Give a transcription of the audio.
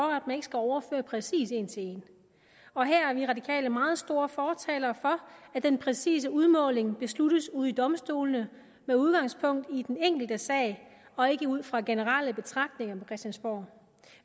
at overføre præcis en til en og her er vi radikale meget store fortalere for at den præcise udmåling besluttes ude ved domstolene med udgangspunkt i den enkelte sag og ikke ud fra generelle betragtninger på christiansborg